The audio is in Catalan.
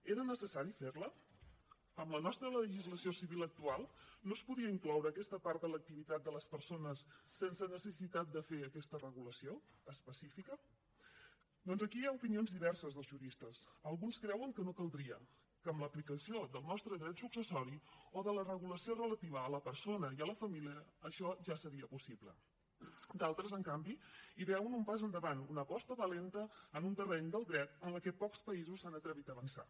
era necessari fer la amb la nostra legislació civil actual no es podia incloure aquesta part en l’activitat de les persones sense necessitat de fer aquesta regulació específica doncs aquí hi ha opinions diverses dels juristes alguns creuen que no caldria que amb l’aplicació del nostre dret successori o de la regulació relativa a la persona i a la família això ja seria possible d’altres en canvi hi veuen un pas endavant una aposta valenta en un terreny del dret en la que pocs països s’han atrevit a avançar